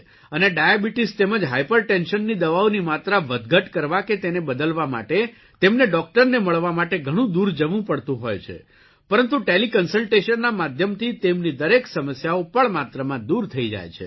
અને ડાયાબીટીસ તેમજ હાઇપરટેન્શનની દવાઓની માત્રા વધઘટ કરવા કે તેને બદલવા માટે તેમને ડોકટરને મળવા માટે ઘણું દૂર જવું પડતું હોય છે પરંતુ ટેલીકન્સલટેશનના માધ્યમથી તેમની દરેક સમસ્યાઓ પળ માત્રમાં દૂર થઇ જાય છે